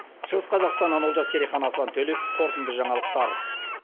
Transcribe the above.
шығыс қазақстаннан олжас керейхан аслан төлеп қорытынды жаңалықтар